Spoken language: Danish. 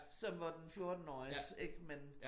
Som hvor den fjortenåriges ik men